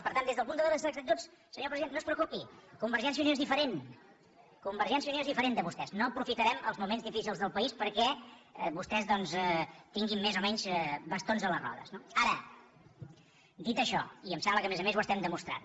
per tant des del punt de vista de les actituds senyor president no es preocupi convergència i unió és diferent convergència i unió és diferent de vostès no aprofitarem els moments difícils del país perquè vostès tinguin més o menys bastons a les rodes no ara dit això i em sembla que a més a més ho estem demostrant